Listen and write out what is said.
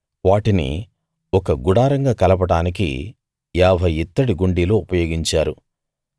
వాటిని ఒక గుడారంగా కలపడానికి ఏభై యిత్తడి గుండీలు ఉపయోగించారు